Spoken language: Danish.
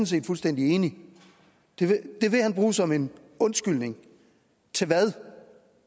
set fuldstændig enig i at det vil han bruge som en undskyldning til hvad